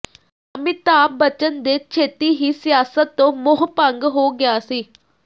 ਅਮਿਤਾਭ ਬੱਚਨ ਦੇ ਛੇਤੀ ਹੀ ਸਿਆਸਤ ਤੋਂ ਮੋਹ ਭੰਗ ਹੋ ਗਿਆ ਸੀ